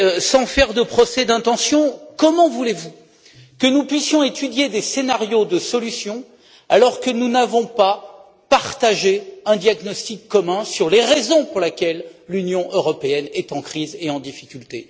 Sans faire de procès d'intention, comment voulez vous que nous puissions étudier des scénarios de solutions alors que nous n'avons pas partagé de diagnostic commun sur les raisons pour lesquelles l'Union européenne est en crise et en difficulté?